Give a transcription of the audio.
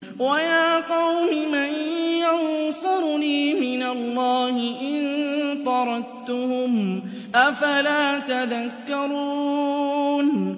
وَيَا قَوْمِ مَن يَنصُرُنِي مِنَ اللَّهِ إِن طَرَدتُّهُمْ ۚ أَفَلَا تَذَكَّرُونَ